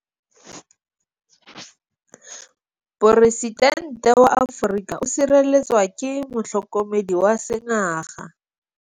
Poresitêntê wa Amerika o sireletswa ke motlhokomedi wa sengaga.